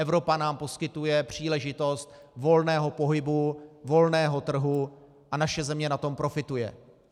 Evropa nám poskytuje příležitost volného pohybu, volného trhu a naše země na tom profituje.